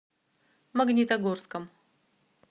магнитогорском